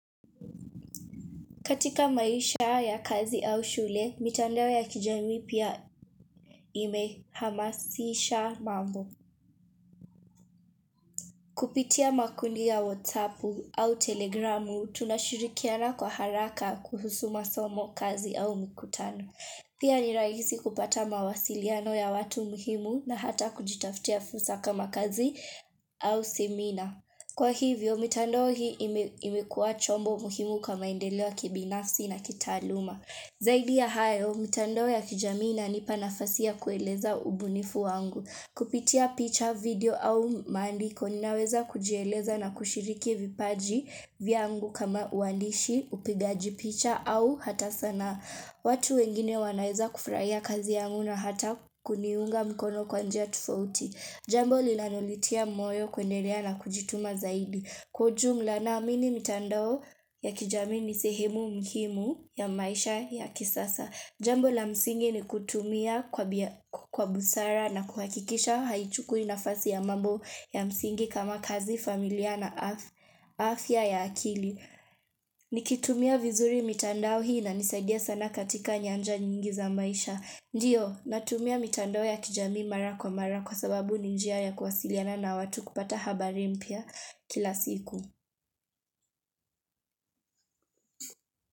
Katika maisha ya kazi au shule, mitandao ya kijamii pia imehamasisha mambo. Kupitia makundi ya WhatsApp au telegramu, tunashirikiana kwa haraka kuhusu masomo, kazi au mikutano. Pia ni rahisi kupata mawasiliano ya watu muhimu na hata kujitafutia fursa kama kazi au seminar. Kwa hivyo, mitandao hii imekua chombo muhimu kwa maendeleo ya kibinafsi na kitaaluma. Zaidi ya hayo, mitandao ya kijamii inanipa nafasi ya kueleza ubunifu wangu. Kupitia picha video au maandiko, ninaweza kujieleza na kushiriki vipaji vyangu kama uandishi, upigaji picha au hata sanaa. Watu wengine wanaeza kufurahia kazi yangu na hata kuniunga mkono kwa njia tofauti. Jambo linanonitia moyo kwenye area la kujituma zaidi. Kwa ujumla naamini mitandao ya kijamii ni sehemu muhimu ya maisha ya kisasa. Jambo la msingi ni kutumia kwa busara na kuhakikisha haichukui nafasi ya mambo ya msingi kama kazi familia na afya ya akili. Nikitumia vizuri mitandao hii inanisaidia sana katika nyanja nyingi za maisha. Ndio, natumia mitandao ya kijamii mara kwa mara kwa sababu ni njia ya kuwasiliana na watu kupata habari mpya kila siku.